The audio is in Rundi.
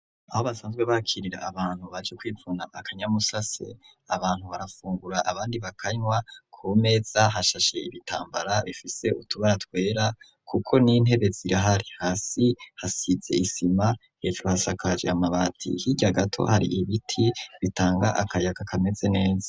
Aho basanzwe bakirira abantu baje kwvuna akanyamusase, abantu barafungura abandi bakanywa, ku meza hashashe ibitambara bifise utubara twera kuko n'intebe zirahari hasi hasize isima hejuru hasakaje amabati hirya gato hari ibiti bitanga akayaka kameze neza.